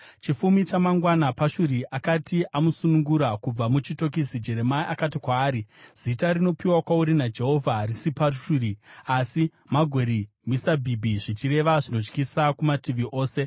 Chifumi chamangwana, Pashuri akati amusunungura kubva muchitokisi, Jeremia akati kwaari, “Zita rinopiwa kwauri naJehovha harisi Pashuri, asi Magori-Misabhibhi (zvichireva zvinotyisa kumativi ose).